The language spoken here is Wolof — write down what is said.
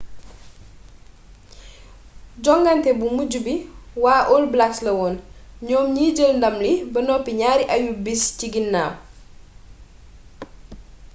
jongante bu mujj bu waa all blacks lawoon ñoom ñi jël ndàm li ba noppi ñaari ayu-bis ci ginnaw